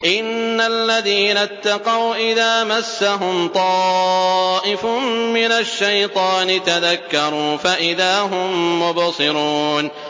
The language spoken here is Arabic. إِنَّ الَّذِينَ اتَّقَوْا إِذَا مَسَّهُمْ طَائِفٌ مِّنَ الشَّيْطَانِ تَذَكَّرُوا فَإِذَا هُم مُّبْصِرُونَ